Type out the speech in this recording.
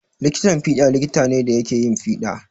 Likitan fiɗa likita ne da yake yin fiɗa.